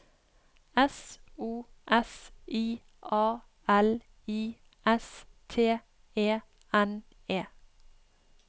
S O S I A L I S T E N E